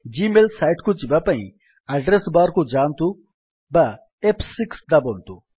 G mail site କୁ ଯିବାପାଇଁ address bar କୁ ଯାଆନ୍ତୁ ବା ଏଫ୍6 ଦାବନ୍ତୁ